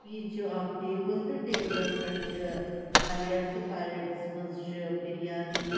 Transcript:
. تہ پلیٹس منٛز چھ بِریانی تہٕ ٹیلبس پٮ۪ٹھ چھ پلیٹْ یہِ چھ اکھ ٹیبل